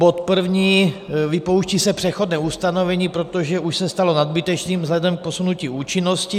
Bod první, vypouští se přechodné ustanovení, protože už se stalo nadbytečným vzhledem k posunutí účinnosti.